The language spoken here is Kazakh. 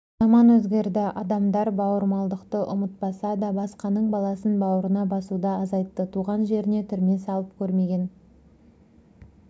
заман өзгерді адамдар бауырмалдықты ұмытпаса да басқаның баласын бауырына басуды азайтты туған жеріне түрме салып көрмеген